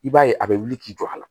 I b'a ye a bɛ wuli k'i jɔ a la